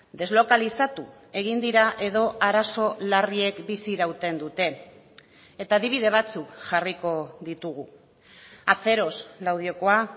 deslokalizatu egin dira edo arazo larriek bizi irauten dute eta adibide batzuk jarriko ditugu aceros laudiokoa